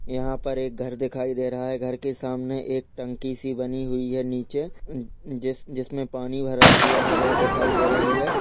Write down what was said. यहा पर एक घर दिखाई दे रहा है घर के सामने एक टंकी सी बनी हुई है नीचे जिस जिसमे पानी भरा हुआ है वह दिखाई दे रही है।